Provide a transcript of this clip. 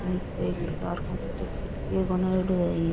निचे एक हज़ार किटको बनायेड़ो है यह।